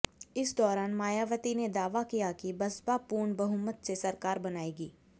इस दौरान मायावती ने दावा किया कि बसपा पूर्ण बहुमत से सरकार बनायेगी